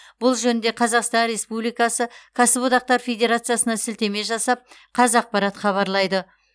бұл жөнінде қазақстан республикасы кәсіподақтар федерациясына сілтеме жасап қазақпарат хабарлайды